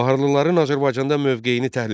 Baharlıların Azərbaycanda mövqeyini təhlil et.